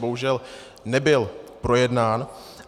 Bohužel nebyl projednán.